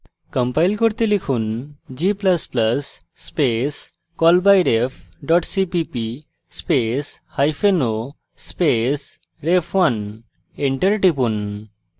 compile করতে লিখুন g ++ space callbyref cpp space hyphen o space ref1 enter টিপুন